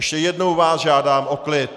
Ještě jednou vás žádám o klid.